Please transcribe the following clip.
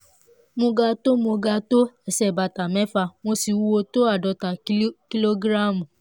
mo ga tó mo ga tó ẹsẹ̀ bàtà mẹ́fà mo sì wúwo tó àádọ́ta kìlógíráàmù